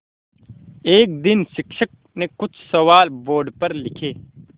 एक दिन शिक्षक ने कुछ सवाल बोर्ड पर लिखे